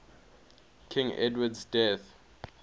king edward's death